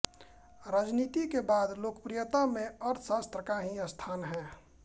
राजनीति के बाद लोकप्रियता में अर्थशास्त्र का ही स्थान हैं